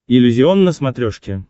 иллюзион на смотрешке